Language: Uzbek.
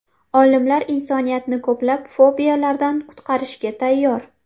Olimlar insoniyatni ko‘plab fobiyalardan qutqarishga tayyor.